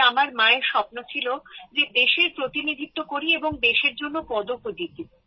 তবে আমার মায়ের স্বপ্ন ছিল যে দেশের প্রতিনিধিত্ব করি এবং দেশের জন্য পদকও জিতি